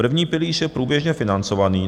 První pilíř je průběžně financovaný.